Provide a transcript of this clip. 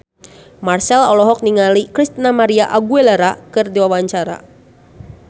Marchell olohok ningali Christina María Aguilera keur diwawancara